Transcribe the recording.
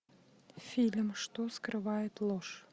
фильм что скрывает ложь